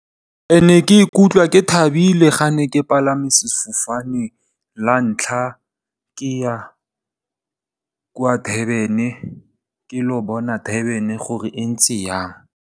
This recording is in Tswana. Ke ne ke ikutlwa ke thabile ga ne ke palame sefofane la ntlha ke ya kwa Durban ke ilo bona Durban gore e ntse jang.